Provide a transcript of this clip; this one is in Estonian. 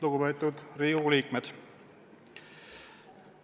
Lugupeetud Riigikogu liikmed!